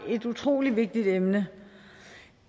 et utrolig vigtigt emne